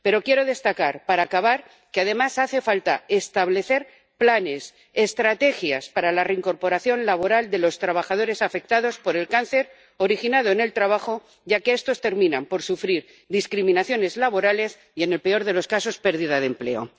Pero quiero destacar, para acabar, que además hace falta establecer planes, estrategias para la reincorporación laboral de los trabajadores afectados por el cáncer originado en el trabajo, ya que estos terminan por sufrir discriminaciones laborales y, en el peor de los casos, pérdida de empleo.